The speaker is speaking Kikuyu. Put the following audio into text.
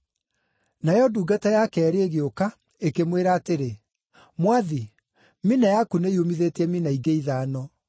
“Nayo ndungata ya keerĩ ĩgĩũka, ĩkĩmwĩra atĩrĩ, ‘Mwathi, mina yaku nĩyumithĩtie mina ingĩ ithano.’